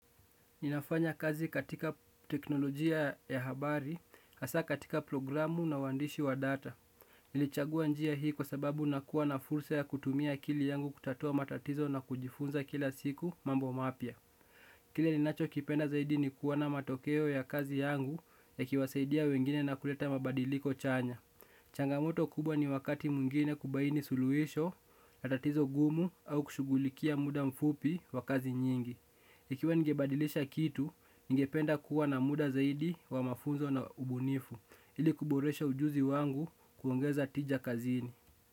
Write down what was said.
Ninafanya kazi katika teknolojia ya habari, hasaa katika programu na uandishi wa data. Nilichagua njia hii kwa sababu nakuwa na fursa ya kutumia akili yangu kutatua matatizo na kujifunza kila siku mambo mapia. Kile ninacho kipenda zaidi ni kuona matokeo ya kazi yangu yakiwasaidia wengine na kuleta mabadiliko chanya. Changamoto kubwa ni wakati mwingine kubaini suluisho, na tatizo gumu au kushugulikia muda mfupi wa kazi nyingi. Ikiwa ngebadilisha kitu, ngependa kuwa na muda zaidi wa mafunzo na ubunifu. Ili kuboresha ujuzi wangu kuongeza tija kazini.